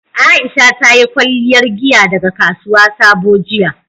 Aisha ta yi kwalliyar giya daga kasuwar Sabo jiya